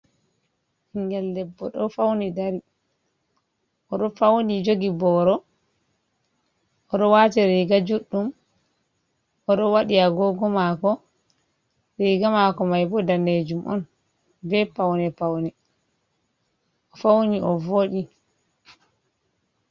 Ɓingel debbo ɗo fauni dari, o ɗo fauni jogi boro, o ɗo wati riga juɗɗum, o ɗo waɗi agogo mako riga mako maibo danejum on be paune paune, o fauni o voɗi.